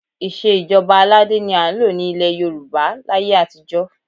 Ìṣe ìjọba aládé ni à ń lò ní ilẹ̀ Yorùbá láyé àtijọ́